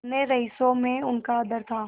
अन्य रईसों में उनका आदर था